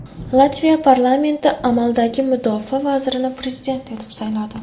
Latviya parlamenti amaldagi mudofaa vazirini prezident etib sayladi.